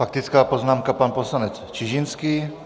Faktická poznámka, pan poslanec Čižinský.